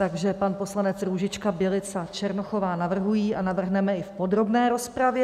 Takže pan poslanec Růžička, Bělica, Černochová navrhují - a navrhneme i v podrobné rozpravě.